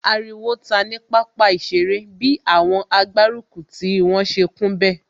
Ariwo ta ní pápá ìṣeré bi àwọn agbárùkùtì wọn ṣe kún bẹ̀